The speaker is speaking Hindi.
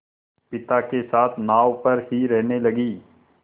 पिता के साथ नाव पर ही रहने लगी